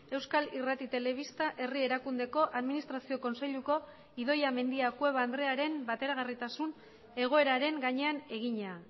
euskal irrati telebista herri erakundeko administrazio kontseiluko idoia mendia cueva andrearen bateragarritasun egoeraren gainean egina